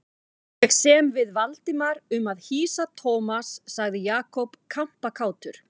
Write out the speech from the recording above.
Ég sem við Valdimar um að hýsa Thomas sagði Jakob kampakátur.